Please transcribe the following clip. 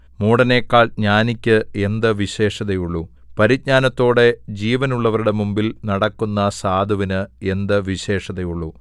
മൂഢനെക്കാൾ ജ്ഞാനിക്ക് എന്ത് വിശേഷതയുള്ളു പരിജ്ഞാനത്തോടെ ജീവനുള്ളവരുടെ മുമ്പിൽ നടക്കുന്ന സാധുവിന് എന്ത് വിശേഷതയുള്ളു